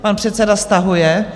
Pan předseda stahuje.